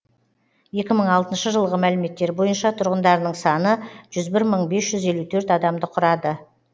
екі мың алтыншы жылғы мәліметтер бойынша тұрғындарының саны жүз бір мың бес жүз елу төрт адамды құрады